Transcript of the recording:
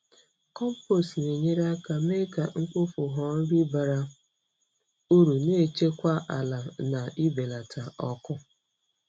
Compost na-enyere aka mee ka mkpofu ghọọ nri bara uru, na-echekwa ala na ibelata ọkụ.